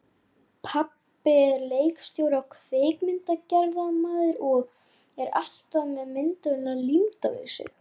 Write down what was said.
Svipuð ákvæði voru í Grágás.